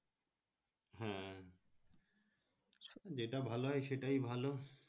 হ্যাঁ যেটা ভালো হয় সেটাই ভালো